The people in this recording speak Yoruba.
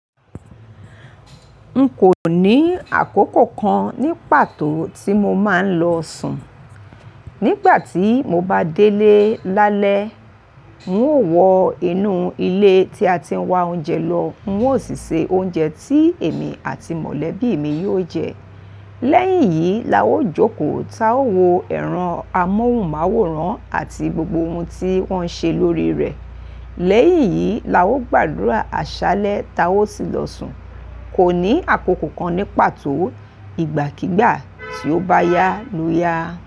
Nkò ní àkókò kan ní pàtó tí mo máa ń lọ sùn. Nígbà tí mo bá délé lálẹ́, n ó wọ inú ilé tí a ti ń wá oúnjẹ lọ, n ó sì se oúnjẹ tí èmi àti mọ̀lẹ́bí mi yóò jẹ. Lẹ́yìn iyìí la ó jókòó táa o wò ẹran amóhùnmáwòrán àti gbogbo ohun tí wọ́n ṣe lórí rẹ̀. Lẹ́yìn iyìí la ó gbàdúrà àṣálẹ́ táa ó sì lọ sùn. Kò ní àkókò kan ní pàtó, ìgbàkígbà tí ó bá yá ló yá.